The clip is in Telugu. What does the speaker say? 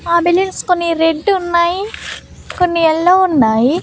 ఆ బిల్డింగ్స్ కొన్ని రెడ్ ఉన్నాయి కొన్ని యెల్లో ఉన్నాయి.